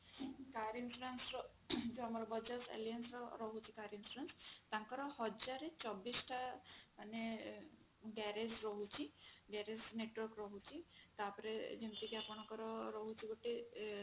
car insurance ର ଆମର bajaj alliance ର car insurance ତାଙ୍କର ହଜାରେ ଚବିଶ ଟା ମାନେ garage ରହୁଛି garage network ରହୁଛି ତାପରେ ଯେମିତିକି ଆପଣଙ୍କର ଗୋଟେ